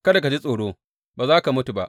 Kada ka ji tsoro, ba za ka mutu ba.